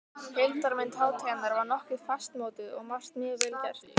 Heildarmynd hátíðarinnar var nokkuð fastmótuð og margt mjög vel gert.